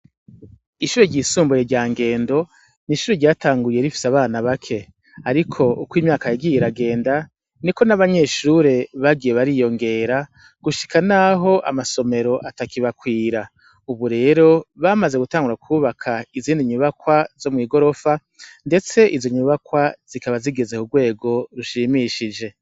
Ishure ry'isumbuye rya Ngendo ni ishure ryatanguye rifise abana bake ariko uko imyaka yagiye iragenda niko n'abanyeshure bagiye bariyongera gushika naho amasomero atakibakwira ubu rero bamaze gutangura kubaka izindi nyubakwa z'igorofa ndetse izo nyubakwa zikaba zigeze ku rwego rushimishije.